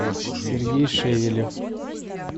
сергей шевелев